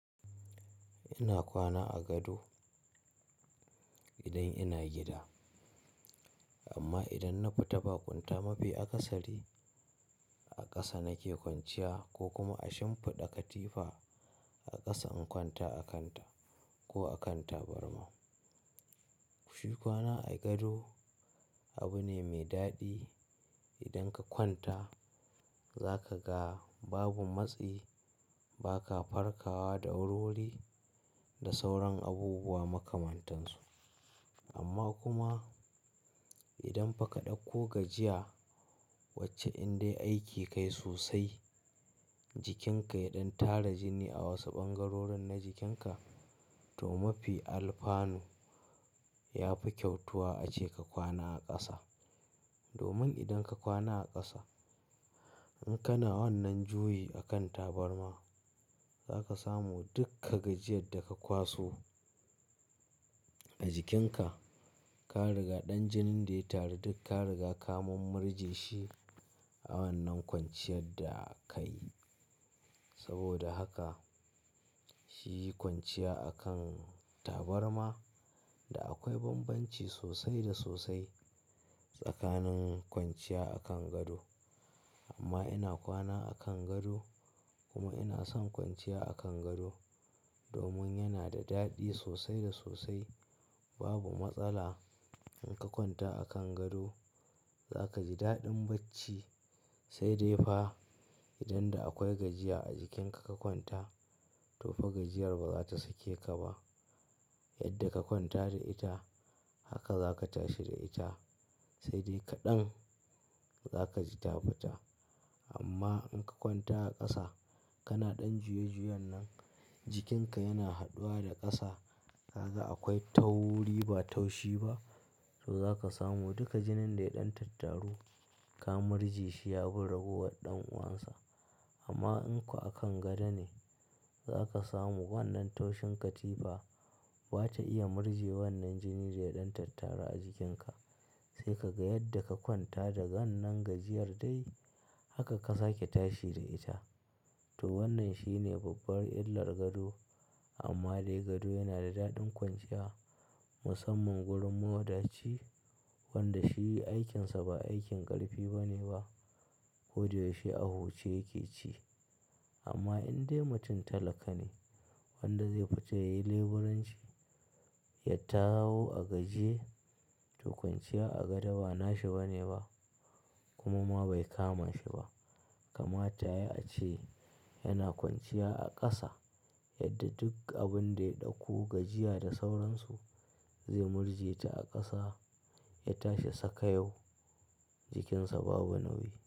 Ina kwana a gado idan ina gida. Amma idan na fita ba kwanta mafi a kasari a ƙasa nake kwanciya ko kuma a shimfiɗa katifa a ƙasa in kwanta a kanta ko a kan tabarma. Shi kwana a gado abu ne mai daɗi. Idan ka kwanta za ka ga babu matsi, ba ka farkawa da wurwuri da sauran abubuwa makamantansu. Amma kuma idan fa ka ɗauko gajiya wacce indai aike kayi sosai, jikinka ya ɗan tara jini a wasu ɓangarorin na jikinka to mafi alfanu ya fi kyautuwa ace ka kwana a ƙasa. Domin idan ka kwana a ƙasa in kana wannan juyi akan tabarma zaka samu dukka gajiyar da ka kwaso a jikinka. Ka riga ɗan jinin da ya taru duk ka riga ka murje shi a wannan kwanciyar da ka yi. Saboda haka shi yi kwanciya a kan tabarma da akwai bambanci sosai da sosai tsakanin kwanciya a kan gado. Amma ina kwana a kan gado kuma ina son kwanciya a kan gado domin yana da daɗi sosai da sosai. Babu matsala in ka kwanta a kan gado za kaji daɗin bacci sai dai fa idan da akwai gajiya a jikinka ka kwanta to fa gajiyar ba za ta sake ka ba. Yadda ka kwanta da ita haka za ka tashi da ita sai dai kaɗan za ka ji ta fita. Amma in ka kwanta a ƙasa kana ɗan juye juyan nan jikinka yana haduwa da ƙasa kaga akwai tauri ba taushi ba to za ka samu duka jinin da ya ɗan tattaru ka murje shi ya bi ragowar ɗan uwansa. Amma in kuwa a kan gado ne za ka samu wannan taushin katifa ba ta iya murje wannan jinin da ya ɗan tattara a jikinka. Sai ka ga yadda ka kwanta da wannan gajiyar dai haka ka sake tashi da ita. To wannan shine babbar illar gado amma dai gado yana da daɗin kwanciya musamman wurin mawadaci wanda shi aikinsa ba aikin ƙarfi bane ba. Koda yaushe ahu ce yake ci amma indai mutum talaka ne wanda zai fita yayi leburanci, ya tawo a gajiye to kwanciya a gado ba nashi bane ba kuma ma bai kamashi ba. Kamata yayi ace yana kwanciya a ƙasa yadda duk abun da ya ɗauko gajiya da sauransu zai murje ta a ƙasa ya tashi saka yau jikinsa babu nauyi.